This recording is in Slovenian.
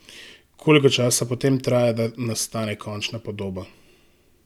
Koliko časa potem traja, da nastane končna podoba?